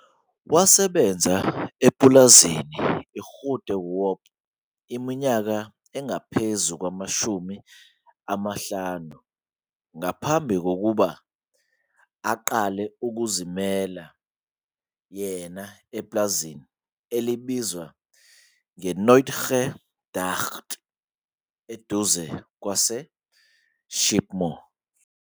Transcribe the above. Hlela ukuba lezi zikhubekiso zisuswe ngaphambi kwesizini elandelayo ukuze ugweme impinda. Khumbula futhi ukuthi kuvunwe nje kuphela amahektha ayi-9, lokhu-ke kuyinselelo enkulu ezinhlelweni zakho.